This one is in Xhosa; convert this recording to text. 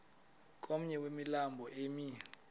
komnye wemilambo emi